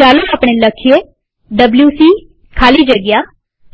ચાલો આપણે લખીએ ડબ્લ્યુસી ખાલી જગ્યા